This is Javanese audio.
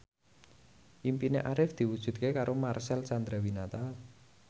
impine Arif diwujudke karo Marcel Chandrawinata